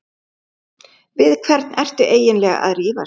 Við hvern ertu eiginlega að rífast?